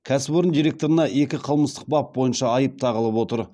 кәсіпорын директорына екі қылмыстық бап бойынша айып тағылып отыр